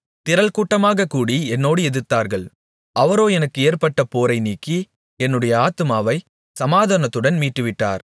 திரள் கூட்டமாகக் கூடி என்னோடு எதிர்த்தார்கள் அவரோ எனக்கு ஏற்பட்ட போரை நீக்கி என்னுடைய ஆத்துமாவைச் சமாதானத்துடன் மீட்டுவிட்டார்